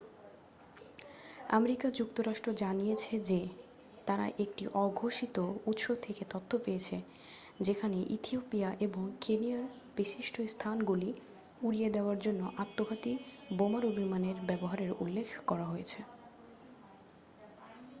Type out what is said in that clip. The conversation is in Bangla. "আমেরিকা যুক্তরাষ্ট্র জানিয়েছে যে তারা একটি অঘোষিত উৎস থেকে তথ্য পেয়েছে যেখানে ইথিওপিয়া এবং কেনিয়ার "বিশিষ্ট স্থানগুলি" উড়িয়ে দেওয়ার জন্য আত্মঘাতী বোমারু বিমানের ব্যবহারের উল্লেখ করা হয়েছে।